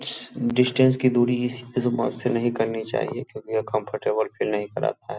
Distance की दुरी इस से नहीं करनी चाहिए क्योंकि वो फील नहीं कराता है।